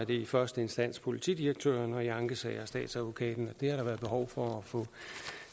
det i første instans politidirektøren og i ankesager statsadvokaten det har der været behov for